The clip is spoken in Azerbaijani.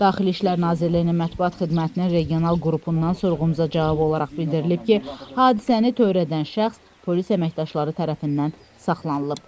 Daxili İşlər Nazirliyinin mətbuat xidmətinin regional qrupundan sorğumuza cavab olaraq bildirilib ki, hadisəni törədən şəxs polis əməkdaşları tərəfindən saxlanılıb.